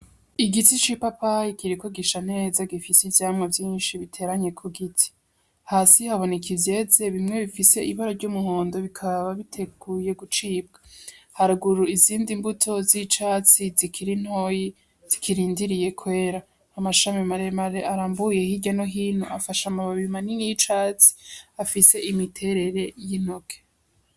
Igiti c'ipapayi kiriko gisha neza gifise ivyamwa vyinshi biteranye kugiti. Hasi haboneka ivyeze bimwe bifise ibara ry'umuhondo bikaba biteguye gucibwa. Haruguru izindi mbuto z'icatsi zikiri ntoyi zikirindiriye kwera. Amashami maremare arambuye hirya no hino afashe amababi manini y'icatsi afise imiterere y'intoke.